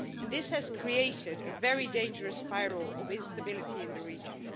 This has created a very dangerous spiral of instability in the region.